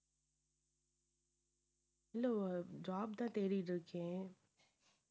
இல்லை wo~ job தான் தேடிட்டு இருக்கேன்.